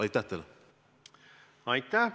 Aitäh!